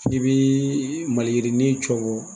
I bi maliyirinin cɔngɔ.